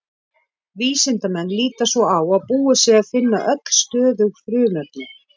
Vísindamenn líta svo á að búið sé að finna öll stöðug frumefni.